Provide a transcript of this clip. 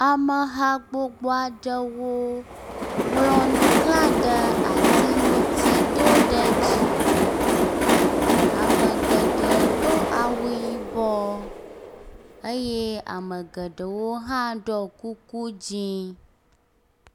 Ameha gbogboaɖewo ŋlɔnu kkaɖe atinuti dó ɖe dzi amegeɖe dó awu yibɔ eye amegeɖewo ha ɖo kuku dzĩ